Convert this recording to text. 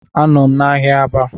A nọm n’ahiá Aba